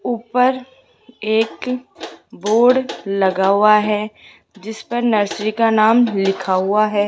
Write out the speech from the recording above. ऊपर एक बोर्ड लगा हुआ है जिस पर नर्सरी का नाम लिखा हुआ है।